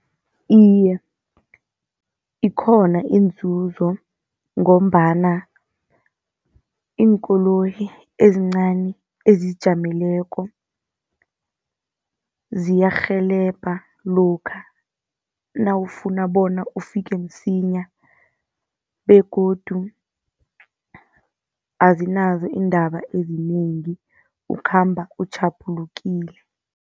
Iye, ikhona iinzuzo ngombana iinkoloyi ezincani ezizijameleko ziyarhelebha lokha nawufuna bona ufike msinya, begodu azinazo iindaba ezinengi ukhamba utjhaphulukile.